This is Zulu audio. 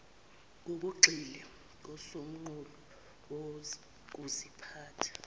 ngokugxile kusomqulu wokuziphatha